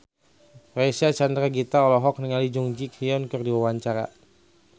Reysa Chandragitta olohok ningali Jung Ji Hoon keur diwawancara